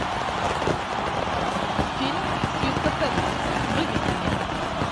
фильм свинка пеппа выведи мне